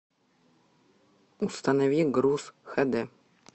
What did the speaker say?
установи груз хэ дэ